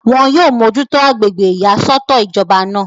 wọn yóò mójútó agbègbè ìyàsọ́tọ̀ ìjọba náà